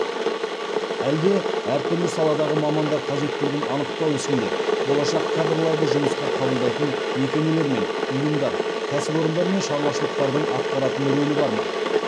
әлде әр түрлі саладағы мамандар қажеттілігін анықтау ісінде болашақ кадрларды жұмысқа қабылдайтын мекемелер мен ұйымдар кәсіпорындар мен шаруашылықтардың атқаратын рөлі бар ма